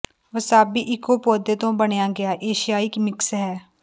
wasabi ਇਕੋ ਪੌਦੇ ਤੋਂ ਬਣਾਇਆ ਗਿਆ ਏਸ਼ੀਆਈ ਮਿਕਸ ਹੈ